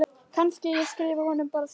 Kannski ég skrifi honum bara sjálf.